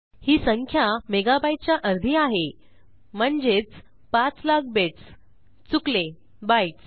ही संख्या megabyteच्या अर्धी आहे म्हणजेच पाच लाख बिट्स चुकले बाइट्स